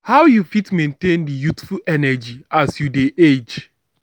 how you fit maintain di youthful energy as you dey age?